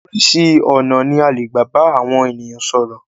Oríṣi ọ̀nà ní a lè gbà bá àwọn ènìyàn sọ̀rọ̀.